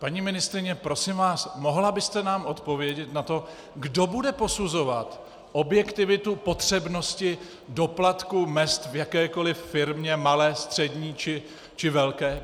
Paní ministryně, prosím vás, mohla byste nám odpovědět na to, kdo bude posuzovat objektivitu potřebnosti doplatku mezd v jakékoli firmě malé, střední či velké?